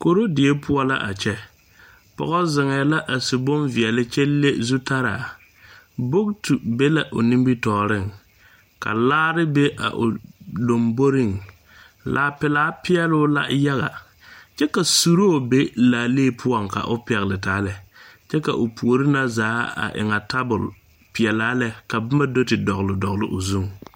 Korodie pʋɔ la a kyɛ. Pɔge ziŋɛɛ la a su bonveɛle kyɛ le zutalaa. Bogitu be la o nimitɔɔreŋ kyɛ ka laare be a o laŋboreŋ. Laa peɛle peɛlɔɔ la yaga kyɛ ka suree be laalee pʋɔ ka o pɛgle taa. A o puori seŋ waanyɛ tabol pelaa ka boma dɔgle dɔgle o zuiŋ.